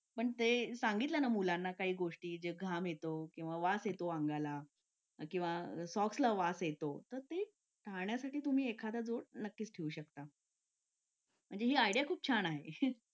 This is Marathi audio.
लेट होतं सर्दी खोकला हा एक वाढलं आहे. एका मुलाला क्लास पूर्ण क्लास त्याच्यामध्ये वाहून निघत निघत असतो असं म्हणायला हरकत नाही. हो डेंग्यू, मलेरिया यासारखे आजार पण ना म्हणजे लसीकरण आहे. पूर्ण केले तर मला नाही वाटत आहे रोप असू शकतेपुडी लसीकरणाबाबत थोडं पालकांनी लक्ष दिलं पाहिजे की आपला मुलगा या वयात आलेला आहे. आता त्याच्या कोणत्या लसी राहिलेले आहेत का?